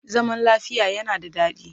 Zaman lafiya yana da daɗi